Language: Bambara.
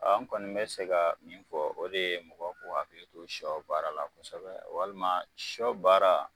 A kɔni be se ka min fɔ o de ye mɔgɔw k'o akili to sɔ baara la kosɛbɛ walima sɔbaara